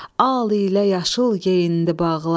Al ilə yaşıl geyindi bağlar,